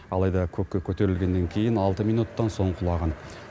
алайда көкке көтерілгеннен кейін алты минуттан соң құлаған